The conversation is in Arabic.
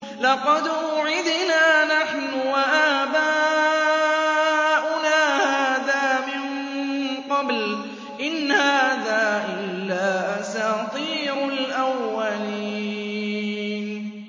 لَقَدْ وُعِدْنَا نَحْنُ وَآبَاؤُنَا هَٰذَا مِن قَبْلُ إِنْ هَٰذَا إِلَّا أَسَاطِيرُ الْأَوَّلِينَ